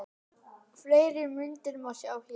Fleiri myndir má sjá hér